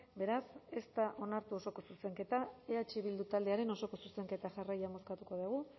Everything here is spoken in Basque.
beraz ez da onartu osoko zuzenketa eh bildu taldearen osoko zuzenketa jarraian bozkatuko dugu